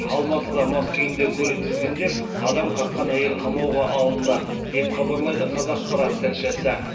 алматыда мас күйінде көлік тізгіндеп адам қаққан әйел қамауға алынды деп хабарлайды қазақпарат тілшісі